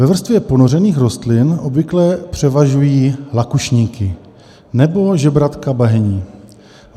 Ve vrstvě ponořených rostlin obvykle převažují lakušníky nebo žebratka bahenní.